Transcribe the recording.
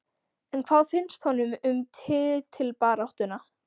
En hvað finnst honum um titilbaráttuna?